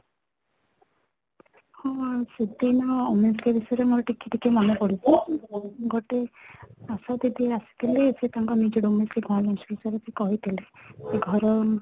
ହଁ, ସେଦିନ ବିଷୟରେ ଟିକେ ଟିକେ ମନେପଡୁଛି ଗୋଟେ ଆଶାଦିଦି ଆସିଥିଲେ ସେ ତାଙ୍କ ନିଜର ବିଷୟରେ କହିଥିଲେ ଘର ମାନେ